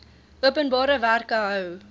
openbare werke hou